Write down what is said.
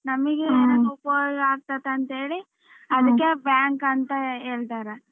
ನಮಗೆ ಏನಾದ್ರೂ ಉಪಯೋಗ ಆಗತೈತೆ ಅಂತೇಳಿ ಅದಿಕ್ಕೆ bank ಅಂತ ಹೇಳ್ತಾರೆ.